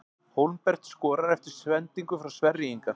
Hólmbert skorar eftir sendingu frá Sverri Inga!